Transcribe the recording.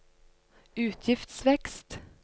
utgiftsvekst